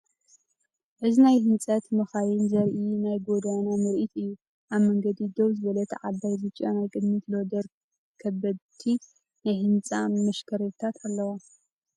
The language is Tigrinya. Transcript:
እዚ ናይ ህንጸት መካይን ዘርኢ ናይ ጎደና ትርኢት እዩ። ኣብ መንገዲ ደው ዝበለት ዓባይ ብጫ ናይ ቅድሚት ሎደር ከበድቲ ናይ ህንጻ ማሽነሪታት አለዎ።